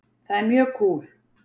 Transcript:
Það er mjög kúl.